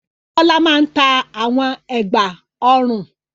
Bọ́lá máa ń ta àwọn ẹ̀gbá-ọrùn.